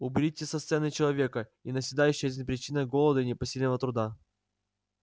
уберите со сцены человека и навсегда исчезнет причина голода и непосильного труда